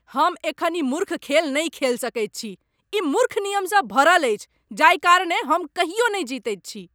हम एखन ई मूर्ख खेल नहि खेल सकैत छी। ई मूर्ख नियमसँ भरल अछि जाहि कारणेँ हम कहियो नहि जीतैत छी।